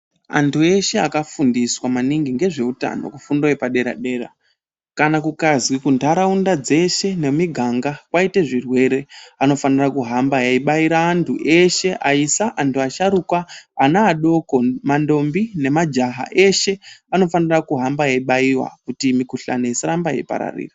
Antu eshe akafundiswa maningi ngezveutano kufundo yepadera-dera, kana kakazi kunharaunda dzeshe nemiganga kwaite zvirwere anofanira kuhamba aibaira antu eshe aisa, antu asharuka, anaadoko, mandombi namajaha eshe anofanira kuhamba aibaiwa kuti mikuhlani isaramba yeipararira.